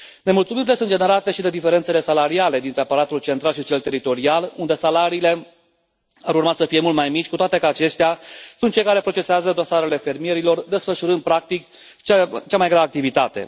Nemulțumirile sunt generate și de diferențele salariale dintre aparatul central și cel teritorial, unde salariile ar urma să fie mult mai mici, cu toate că aceștia sunt cei care procesează dosarele fermierilor, desfășurând practic cea mai grea activitate.